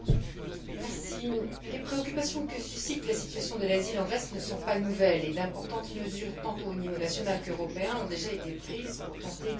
Madame la Présidente, les préoccupations que suscite la situation de l'asile en Grèce ne sont pas nouvelles et d'importantes mesures, tant aux niveaux national qu'européen, ont déjà été prises pour tenter d'y répondre.